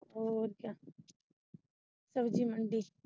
ਔਰ ਕਿਆ ਸਬਜੀ ਮੰਡੀ।